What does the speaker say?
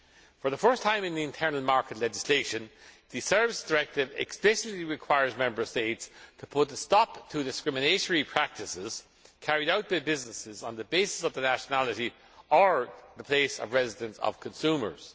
For the first time in the internal market legislation, the Services Directive explicitly requires Member States to put a stop to discriminatory practices carried out by businesses on the basis of the nationality or the place of residence of consumers.